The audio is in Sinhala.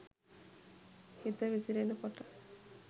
හිත විසිරෙන කොට